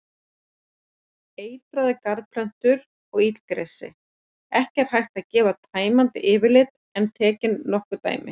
Eitraðar garðplöntur og illgresi Ekki er hægt að gefa tæmandi yfirlit en tekin nokkur dæmi.